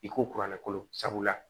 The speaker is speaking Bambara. I ko kuranɛ kolo sabula